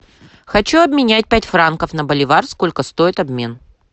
хочу обменять пять франков на боливар сколько стоит обмен